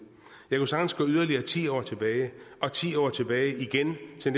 jeg kunne sagtens gå yderligere ti år tilbage og ti år tilbage igen til